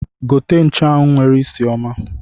Gote nchuanwu nwere isi ọma!